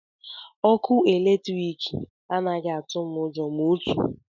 Ọkụ eletrik anaghị atụ m ụjọ ma otu.